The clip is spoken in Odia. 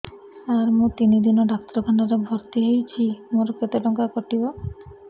ସାର ମୁ ତିନି ଦିନ ଡାକ୍ତରଖାନା ରେ ଭର୍ତି ହେଇଛି ମୋର କେତେ ଟଙ୍କା କଟିବ